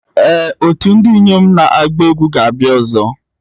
Ee otu ndị inyom na-agba egwu ga-abịa ọzọ.